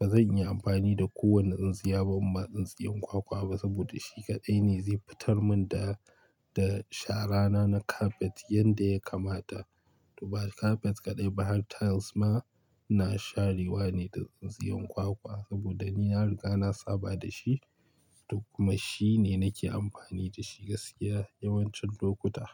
bazan iya amfani da kowane tsintsiya ba kuma tsintsiyan kwakwa ba saboda shi kaɗai ne zai fitar mun da, da shara na na kafet yanda ya kamata. To ba kafet kaɗai bayan tiles ma ina share wa ne da tsintsiyan kwakwa saboda ni na ya riga na saba da shi duk kuma shi ne nake amfani da shi gaskiya yawancin lokuta.